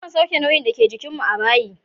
Mukan sauke nauyin dake jikin mu a bayi.